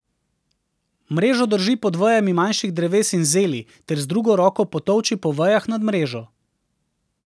Mrežo drži pod vejami manjših dreves in zeli ter z drugo roko potolči po vejah nad mrežo.